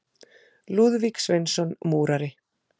Lúðvík Sveinsson múrari.